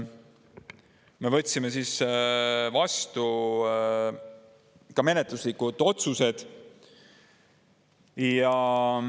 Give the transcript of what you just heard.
Me võtsime vastu ka menetluslikud otsused.